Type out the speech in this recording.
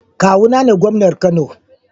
Kawuna ne gomnan Kano